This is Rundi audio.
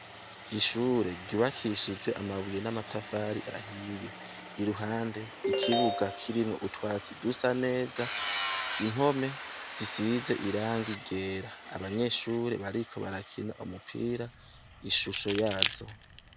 Ishure ryubakishijwe amabuye n'amatafari ahiye ,iruhande ikibuga kirimwo utwatsi dusa neza, impome zisize irangi ryera, abanyeshure bariko barakina umupira ishusho yazo.